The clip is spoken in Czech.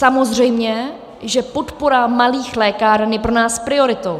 Samozřejmě, že podpora malých lékáren je pro nás prioritou.